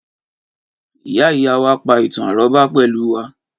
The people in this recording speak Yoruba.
Ìyá ìyá wá pa ìtàn-àrọ́bá pẹ̀lú wa